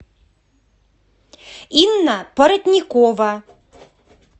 инна поротникова